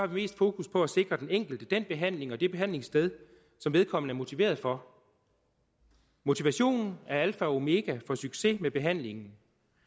vi mest fokus på at sikre den enkelte den behandling og det behandlingssted som vedkommende er motiveret for motivationen er alfa og omega for succes med behandlingen